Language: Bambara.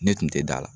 Ne tun tɛ da la